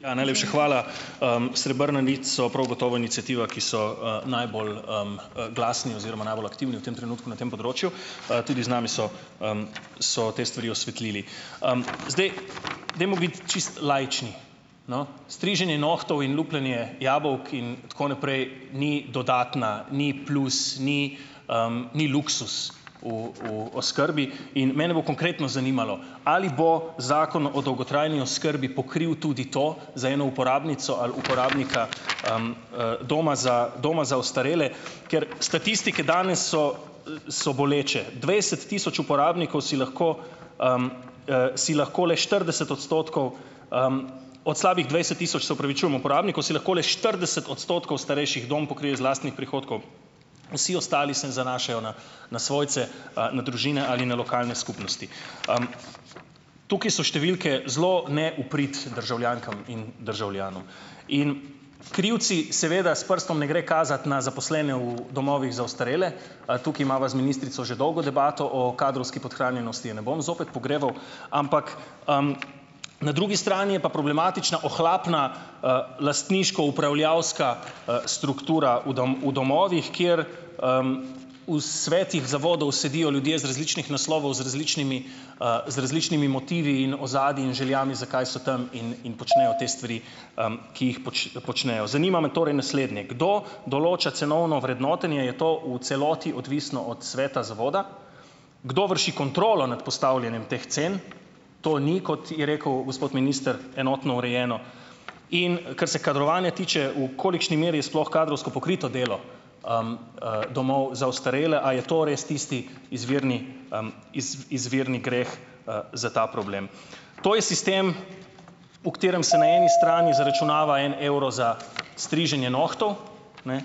Ja, Najlepša hvala. Srebrna nit so prav gotovo iniciativa, ki so, najbolj, glasni oziroma najbolj aktivni v tem trenutku na tem področju. Tudi z nami so, so te stvari osvetlili. Zdaj, dajmo biti čisto laični. No, striženje nohtov in lupljenje jabolk, in tako naprej, ni dodatna, ni plus, ni, ni luksuz v v oskrbi in mene bo konkretno zanimalo, ali bo Zakon o dolgotrajni oskrbi pokril tudi to za eno uporabnico ali uporabnika, doma za doma za ostarele, ker statistike danes so, so boleče. Dvajset tisoč uporabnikov si lahko, si lahko le štirideset odstotkov, od slabih dvajset tisoč, se opravičujem, uporabnikov si lahko le štirideset odstotkov starejših dom pokrije iz lastnih prihodkov. Vsi ostali se zanašajo na na svojce, na družine ali na lokalne skupnosti. Tukaj so številke zelo ne v prid državljankam in državljanom in krivci - seveda, s prstom ne gre kazati na zaposlene v domovih za ostarele, tukaj imava z ministrico že dolgo debato o kadrovski podhranjenosti, je ne bom zopet pogreval, ampak, na drugi strani je pa problematična ohlapna, lastniško upravljavska, struktura v v domovih, kjer, v svetih zavodov sedijo ljudje z različnih naslovov, z različnimi, z različnimi motivi in ozadji in željami, zakaj so tam, in in počnejo te stvari, ki jih počnejo. Zanima me torej naslednje: Kdo določa cenovno vrednotenje? Je to v celoti odvisno od sveta zavoda? Kdo vrši kontrolo nad postavljanjem teh cen? To ni, kot je rekel gospod minister, enotno urejeno. In kar se kadrovanja tiče, v kolikšni meri je sploh kadrovsko pokrito delo, domov za ostarele? A je to res tisti izvirni, izvirni greh, za ta problem? To je sistem, v katerem se na eni strani zaračunava en evro za striženje nohtov, ne,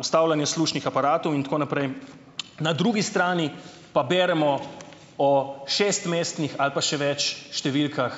vstavljanje slušnih aparatov in tako naprej, na drugi strani pa beremo o šestmestnih ali pa še več številkah ...